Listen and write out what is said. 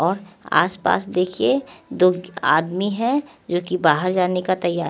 और आस पास देखिए दो आदमी है जो कि बाहर जाने का तैया--